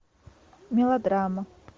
мелодрама